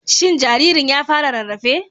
Shin jaririn ya fara rarrafe?